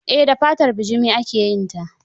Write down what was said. Eh da fatar bujumi ake yin ta.